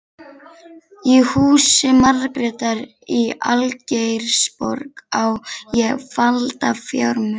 Í húsi Margrétar í Algeirsborg á ég falda fjármuni.